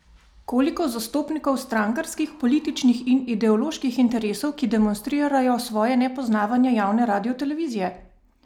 Koliko zastopnikov strankarskih, političnih in ideoloških interesov, ki demonstrirajo svoje nepoznavanje javne radiotelevizije?